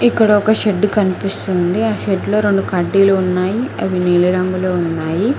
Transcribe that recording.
ఇక్కడ ఒక షెడ్ కనిపిస్తుంది ఆ షెడ్ లో రెండు కడ్డీలు ఉన్నాయి అవి నీలి రంగులో ఉన్నాయి.